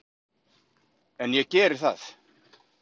En ég geri það.